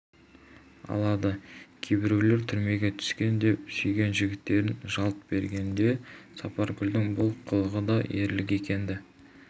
алады кейбіреулер түрмеге түскен деп сүйген жігіттерінен жалт бергенде сапаргүлдің бұл қылығы да ерлік екені